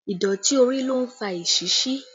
Ìdọ̀tí orí ló ń fa esisí